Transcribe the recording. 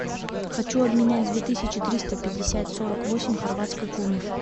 хочу обменять две тысячи триста пятьдесят сорок восемь хорватской куны